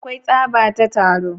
Akwai tsaba ta taro.